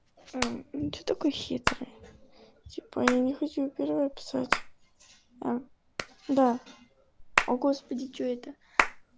а ну что такой хитрый типа я не хочу первая писать а да о господи что это